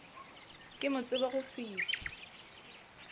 ke mo tsebe go fihla